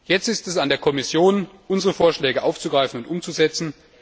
Jetzt ist es an der Kommission, unsere Vorschläge aufzugreifen und umzusetzen.